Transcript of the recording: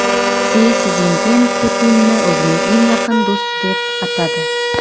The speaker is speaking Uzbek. Si Szinpin Putinni o‘zining eng yaqin do‘sti deb atadi.